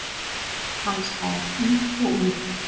Hann slær í og úr.